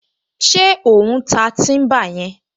Ṣé ò ń ta tíḿbà yẹn?